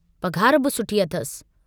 पघार बि सुठी अथसि।